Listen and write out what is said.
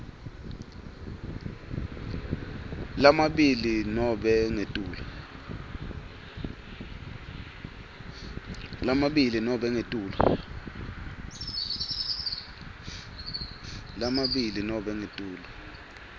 lamabili nobe ngetulu